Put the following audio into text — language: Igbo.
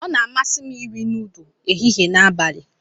Ọ na-amasị m iri nudu ehihie na abalị.